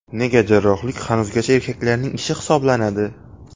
Nega jarrohlik hanuzgacha erkaklarning ishi hisoblanadi?.